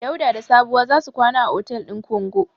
Dauda da Sabuwa za su kwana a otel din Kongo.